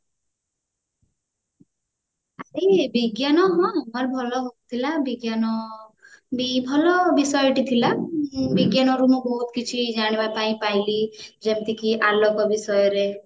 ଏଇ ବିଜ୍ଞାନ ମ ମୋର ଭଲ ହଉଥିଲା ବିଜ୍ଞାନ ବି ଭଲ ବିଷୟଟି ଥିଲା ବିଜ୍ଞାନର ରୁ ମୁଁ ବହୁତ କିଛି ଜାଣିବା ପାଇଁ ପାଇଲି ଯେମିତିକି ଆଲୋକ ବିଷୟରେ